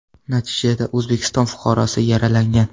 Natijada O‘zbekiston fuqarosi yaralangan.